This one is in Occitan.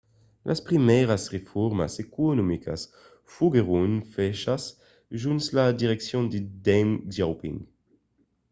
las primièras reformas economicas foguèron fachas jos la direccion de deng xiaoping